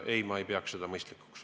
Ei, ma ei pea seda mõistlikuks.